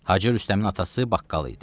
Hacı Rüstəmin atası baqqal idi.